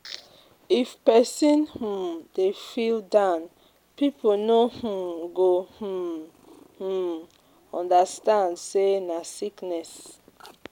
If pesin um dey feel down, pipo no um go um um understand sey na sickness.